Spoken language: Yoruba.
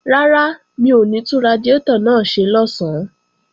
Rárá, mi ò ní tún radiátọ̀ náà ṣe lọ̀sán